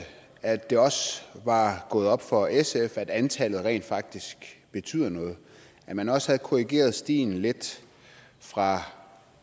at det også var gået op for sf at antallet rent faktisk betyder noget at man også havde korrigeret stien lidt fra